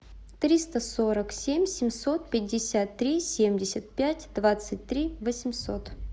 триста сорок семь семьсот пятьдесят три семьдесят пять двадцать три восемьсот